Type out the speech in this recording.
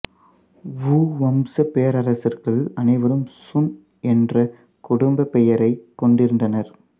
வூ வம்சப் பேரரசர்கள் அனைவரும் சுன் என்ற குடும்பப் பெயரையே கொண்டிருந்தனர்